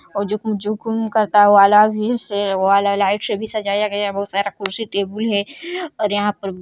और जो कुम करता वाला भी से वो वाला लाइट से भी सजाया गया बहुत सारा कुर्सी टेबुल् है और यहाँ पर।